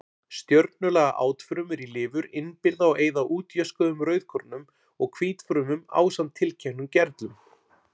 Stjörnulaga átfrumur í lifur innbyrða og eyða útjöskuðum rauðkornum og hvítfrumum ásamt tilteknum gerlum.